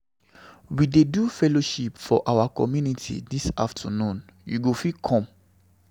We dey do fellowship for our community dis afternoon. You go fit come.